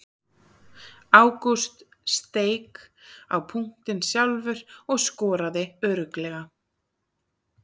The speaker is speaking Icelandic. Ágúst steik á punktinn sjálfur og skoraði örugglega.